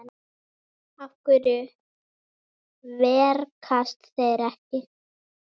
Af hverju verkast þeir ekki?